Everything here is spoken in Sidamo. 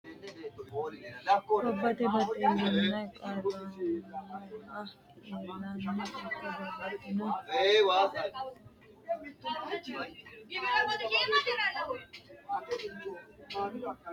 Gobbate baxillaano qarrammoha ilanni ikko babbaxino munfeete anjenni qarrommo qansootira munfeete kaa'lo assitanni boo qansootaati. Mittu fayyimate ogeessi sasu manniwiinni mundee haaranni afamanno.